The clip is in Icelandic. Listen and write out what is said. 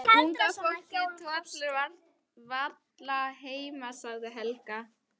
Nei, unga fólkið tollir varla heima sagði Helga.